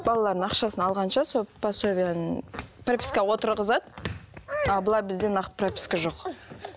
балалардың ақшасын алғанша сол пособияның пропискаға отырғызады ал былай бізде нақты прописка жоқ